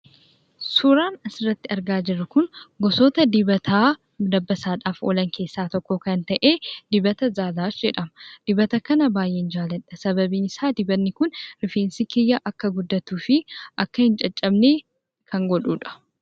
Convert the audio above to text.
Suuraan asirratti argaa jirru Kun, gosoota dibataa dabbasaadhaaf oolan keessaa tokko kan ta'e, dibata zalash jedhama. Dibata kana baayyeen jaalladha, sababiin isaa Dibatni Kun rifeensi kiyya akka guddatu fi akka hin caccabne kan godhudha.